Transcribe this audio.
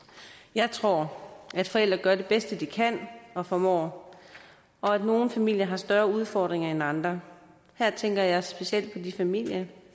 jeg tror at forældre gør det bedste de kan og formår og at nogle familier har større udfordringer end andre her tænker jeg specielt på de familier